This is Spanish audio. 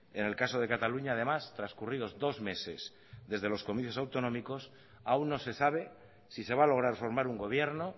en el caso de cataluña además transcurridos dos meses desde los comicios autonómicos aún no se sabe si se va a lograr formar un gobierno